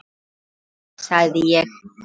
Bara fínt sagði ég.